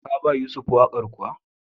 Ka ba Yusuf waƙar kuwa?